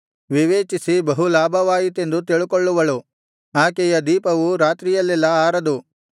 ವಿವೇಚಿಸಿ ಬಹುಲಾಭವಾಯಿತೆಂದು ತಿಳುಕೊಳ್ಳುವಳು ಆಕೆಯ ದೀಪವು ರಾತ್ರಿಯಲ್ಲೆಲ್ಲಾ ಆರದು